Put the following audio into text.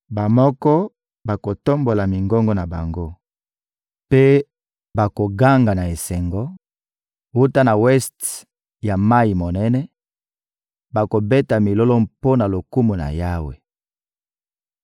Bamoko bakotombola mingongo na bango mpe bakoganga na esengo; wuta na weste ya mayi monene, bakobeta milolo mpo na lokumu na Yawe.